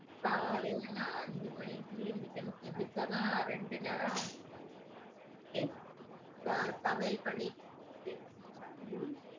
காலையில நான் அஞ்சு மணிக்கு எந்திரிக்கணும் எந்திரிச்சாதான் ரெண்டு நேரம் ச~ சமையல் பண்ணி